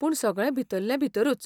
पूण सगळें भितरले भितरूच.